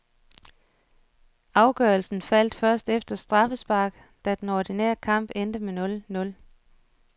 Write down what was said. Afgørelsen faldte først efter straffespark, da den ordinære kamp endte nul nul.